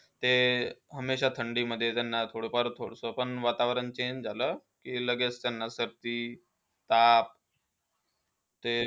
ते हमेशा थंडीमध्ये त्यांना थोडाफार, थोडंसं पण वातावरण पण CHANGE झालं की लगेच त्यांना सर्दी, ताप. ते